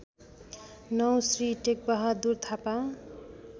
९ Shri Tekbahadur Thapa